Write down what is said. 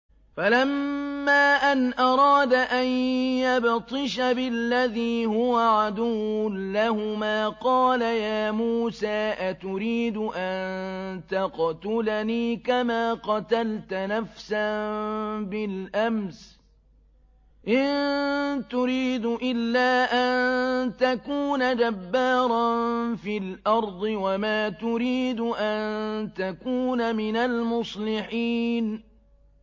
فَلَمَّا أَنْ أَرَادَ أَن يَبْطِشَ بِالَّذِي هُوَ عَدُوٌّ لَّهُمَا قَالَ يَا مُوسَىٰ أَتُرِيدُ أَن تَقْتُلَنِي كَمَا قَتَلْتَ نَفْسًا بِالْأَمْسِ ۖ إِن تُرِيدُ إِلَّا أَن تَكُونَ جَبَّارًا فِي الْأَرْضِ وَمَا تُرِيدُ أَن تَكُونَ مِنَ الْمُصْلِحِينَ